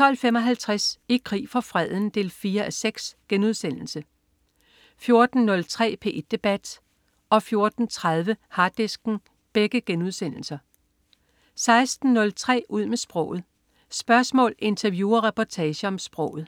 12.55 I krig for freden 4:6* 14.03 P1 debat* 14.30 Harddisken* 16.03 Ud med sproget. Spørgsmål, interview og reportager om sproget